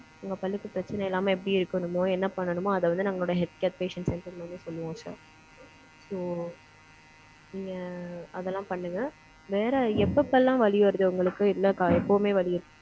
உங்க பல்லுக்கு பிரச்சனை இல்லாம, எப்படி இருக்கணுமோ, என்ன பண்ணணுமோ, அதை வந்து, நம்மளோட health care patients centre மூலம் சொல்லுவோம் சார், உம் அந்த அதெல்லாம் பண்ணுங்க. வேற, எப்பப்பெல்லாம், வலி வருது, உங்களுக்கு? இல்லக்கா, எப்பவுமே, வலி